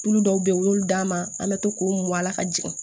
Tulu dɔw bɛ yen u y'olu d'an ma an bɛ to k'o mo a la ka jigin